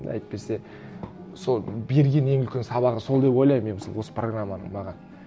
әйтпесе сол берген ең үлкен сабағы сол деп ойлаймын мен мысалы осы программаның маған